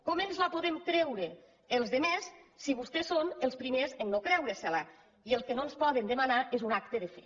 com ens la podem creure els altres si vostès són els primers a no creure se la i el que no ens poden demanar és un acte de fe